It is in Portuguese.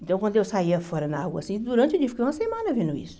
Então, quando eu saía fora na rua assim, durante o dia, fiquei uma semana vendo isso.